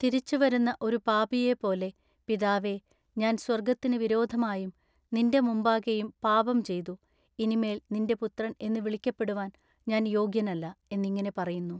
തിരിച്ചു വരുന്ന ഒരു പാപിയേപ്പോലെ പിതാവേ ഞാൻ സ്വർഗ്ഗത്തിന് വിരോധമായും നിന്റെ മുമ്പാകെയും പാപം ചെയ്തു ഇനിമേൽ നിന്റെ പുത്രൻ എന്നു വിളിക്കപ്പെടുവാൻ ഞാൻ യോഗ്യനല്ല" എന്നിങ്ങിനെ പറയുന്നു.